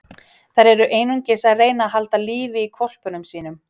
Þær eru einungis að reyna að halda lífi í hvolpunum sínum.